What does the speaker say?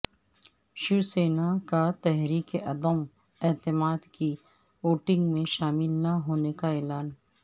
شیوسینا کا تحریک عدم اعتماد کی ووٹنگ میں شامل نہ ہونے کا اعلان